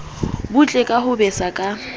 butle ka ho betsa ka